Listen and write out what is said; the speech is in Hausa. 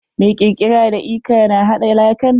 Mai kirkiara da lka na haɗa lakan.